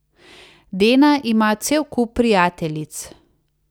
Dena ima cel kup prijateljic.